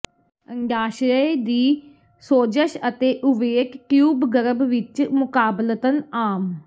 ਅੰਡਾਸ਼ਯ ਦੀ ਸੋਜਸ਼ ਅਤੇ ਓਵੇਟ ਟਿਊਬ ਗਰਭ ਵਿਚ ਮੁਕਾਬਲਤਨ ਆਮ